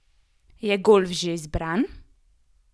Je golf že izbran?